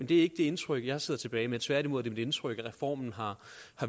det indtryk jeg sidder tilbage med tværtimod er det mit indtryk at reformen har